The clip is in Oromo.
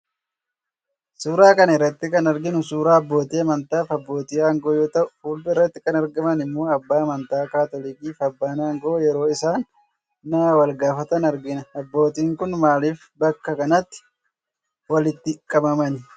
Suuraa kana irratti kan arginu suuraa abbootii amantaa fi abbootii aangoo yoo ta'u, fuuldura irratti kan argaman immoo abbaa amantaa kaatolikii fi abbaan aangoo yeroo isaan naa walgaafatan argina. Abbootiin kun maaliif bakka kanatti walitti qabaman?